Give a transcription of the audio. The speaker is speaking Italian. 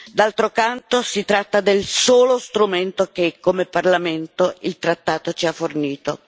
D'altro canto, si tratta del solo strumento che come Parlamento il trattato ci ha fornito.